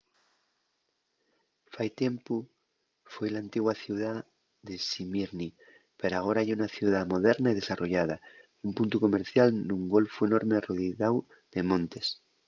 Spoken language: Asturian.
fai tiempu foi l'antigua ciudá de smýrni pero agora ye una ciudá moderna y desarrollada un puntu comercial nun golfu enorme arrodiáu de montes